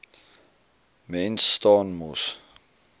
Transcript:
mens staan mos